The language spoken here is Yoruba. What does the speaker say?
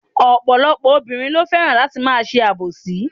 Ọ̀pọ̀lọpọ̀ obìnrin lo fẹ́ràn láti ma se àbòsí